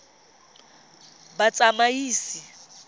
batsamaisi